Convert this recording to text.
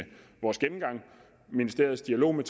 vores gennemgang og ministeriets dialog med